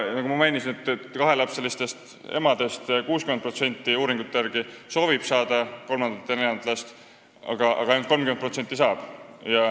Nagu ma mainisin, kahelapselistest emadest 60% soovib uuringute järgi saada kolmandat ja neljandat last, aga ainult 30% saab.